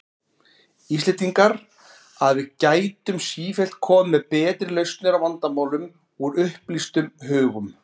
Íslendingar, að við gætum sífellt komið með betri lausnir á vandamálum, úr upplýstum hugum.